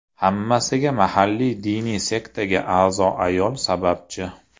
Hammasiga mahalliy diniy sektaga a’zo ayol sababchi.